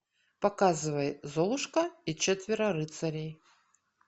показывай золушка и четверо рыцарей